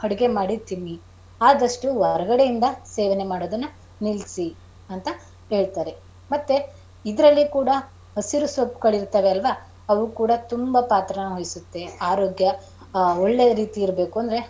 ಅಡುಗೆ ಮಾಡಿ ತಿನ್ನಿ ಆದಷ್ಟು ಹೊರಗಡೆ ಇಂದ ಸೇವನೆ ಮಾಡೋದನ್ನ ನಿಲ್ಸಿ ಅಂತ ಹೇಳ್ತಾರೆ. ಮತ್ತೆ ಇದರಲ್ಲಿ ಕೂಡ ಹಸಿರು ಸೊಪ್ಪುಗಳಿರತವೆ ಅಲ್ವಾ ಅವು ಕೂಡ ತುಂಬಾ ಪಾತ್ರಾನ ವಹಿಸುತ್ತೆ ಆರೋಗ್ಯ ಒಳ್ಳೆ ರೀತಿಲಿ ಇರಬೇಕಂದರೆ.